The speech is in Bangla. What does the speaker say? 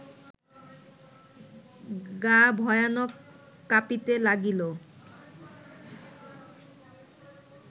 গা ভয়ানক কাঁপিতে লাগিল